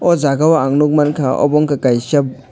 oh jagao ang nukmankha obo ungkha kaisa.